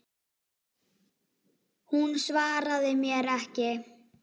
Hún svaraði mér ekki.